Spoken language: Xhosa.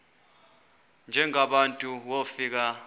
njengaba bantu wofika